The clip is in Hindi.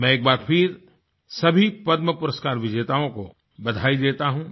मैं एक बार फिर सभी पद्मपुरस्कार विजेताओं को बधाई देता हूँ